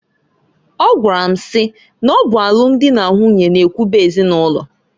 Ọgwara m si n'ọ bụ alum dị na nwunye na ewube ezinụlọ.